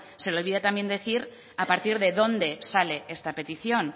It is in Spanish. se le olvida también decir a partir de dónde sale esta petición